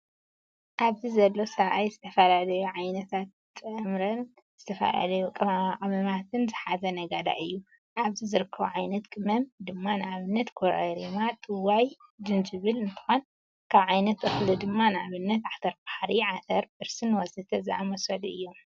ኣብዚ ዘሎ ሰብኣይ ዝተፈላለዩ ዓይነት ጥራምረን ዝተፈላለዩ ቅመማቅመማትን ዝሓዘ ነጋዳይ እዩ። ኣብዚ ዝርከቡ ዓይነት ቅመም ድማ ንኣብነት ኮረሪማ፣ ጥዋይ፣ ጅንጅብል እንትኮኑ ካብ ዓይነት እክሊ ድማ ንኣብነት ዓተርባሕሪ ፣ዓተር፣ ብርስን ወዘተ ዝኣምሰሉ እዮም።